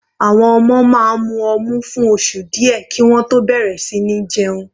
Àwọn ọmọ máa mu ọmu fún oṣù díẹ̀ kí wọ́n tó bẹ̀rẹ̀ sí ní jẹun.